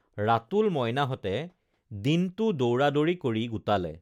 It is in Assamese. ৰাতুল মইনাহঁতে দিনটো দৌৰাদৌৰি কৰি গোটালে